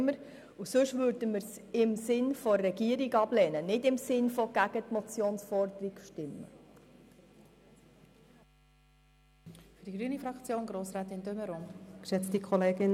Und sonst würden wir den Vorstoss im Sinn der Regierung ablehnen und also nicht gegen die Forderung der Motion stimmen.